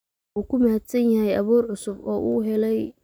Wuu ku mahadsan yahay abuur cusub oo uu helay.